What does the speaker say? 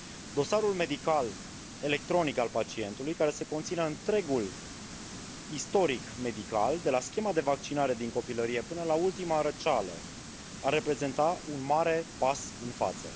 Dosarul medical electronic al pacientului, care să conțină întregul istoric medical, de la schema de vaccinare din copilărie, până la ultima răceală, ar reprezenta un mare pas în față.